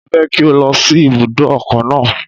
Mo fẹ́ kí o lọ sí ibùdó ọkọ̀ náà.